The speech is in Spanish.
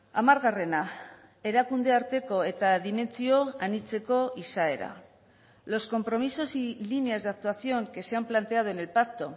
hamargarrena erakunde arteko eta dimentsio anitzeko izaera los compromisos y líneas de actuación que se han planteado en el pacto